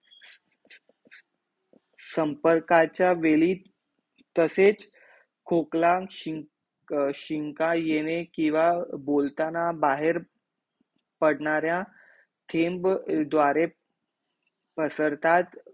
संपर्काचा वेळी तसेच खोकला शिंक अर शिंका येणे किंवा बोलताना बाहेर पडण्यारा थेम्ब द्वारे पसरतात